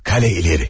Qalə ileri.